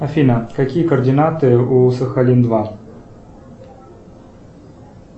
афина какие координаты у сахалин два